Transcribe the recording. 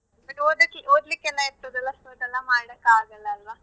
ಮತ್ತೆ ಓದ್ಲಿಕ್ಕೆಲ್ಲೆ ಇರ್ತದಲ್ಲಾ so ಅದೆಲ್ಲ ಮಾಡಕ್ ಆಗಲ್ಲ ಅಲ್ವಾ.